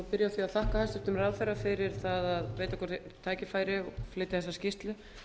því að þakka hæstvirtum ráðherra fyrir það að veita okkur tækifæri og flytja þessa skýrslu